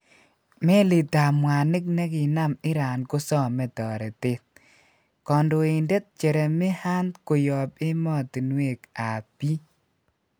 Melitap mwanik neginam iran kosome toretet. Kondoindet Jeremy Hunt koyop emotinwek ap pii.